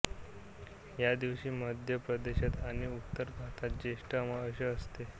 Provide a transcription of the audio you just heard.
या दिवशी मध्य प्रदेशात आणि उत्तर भारतात ज्येष्ठ अमावास्या असते